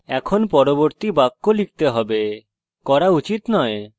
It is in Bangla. এখন আমাদের পরবর্তী বাক্য লিখতে হবে করা উচিত নয়